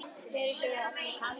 Niðri, sögðu þeir allir í kór.